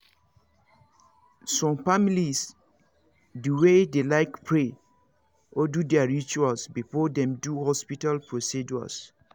some families dey way dey like pray or do their rituals before them do hospital procedures